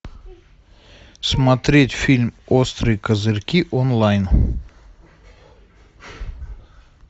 смотреть фильм острые козырьки онлайн